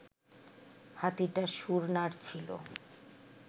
হাতিটা শুঁড় নাড়ছিল